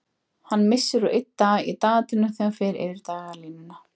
Hann missir úr einn dag í dagatalinu þegar hann fer yfir dagalínuna.